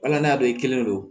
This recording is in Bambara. Wala n'a don i kelen don